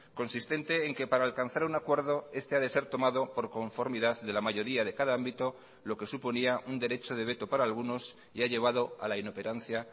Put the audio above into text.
consistente en que para alcanzar un acuerdo este ha de ser tomado por conformidad de la mayoría de cada ámbito lo que suponía un derecho de veto para algunos y ha llevado a la inoperancia